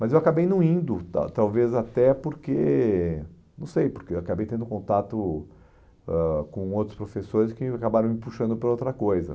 Mas eu acabei não indo, tal talvez até porque, não sei, porque eu acabei tendo contato ãh com outros professores que acabaram me puxando para outra coisa.